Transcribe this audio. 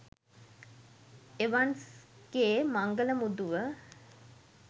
එවන්ස්ගේ මංගල මුදුව